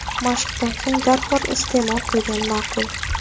Mashqdan so‘ng darhol iste’mol qilgan ma’qul.